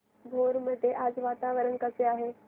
भोर मध्ये आज वातावरण कसे आहे